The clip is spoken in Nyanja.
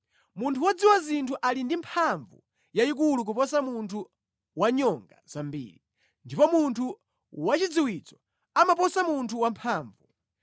Munthu wodziwa zinthu ali ndi mphamvu yayikulu kuposa munthu wanyonga zambiri, ndipo munthu wachidziwitso amaposa munthu wamphamvu.